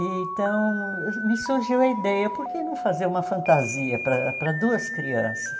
Então, me surgiu a ideia, por que não fazer uma fantasia para para duas crianças?